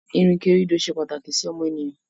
ìrìnkèrindò se pàtàkì sí ọmọnìyàn.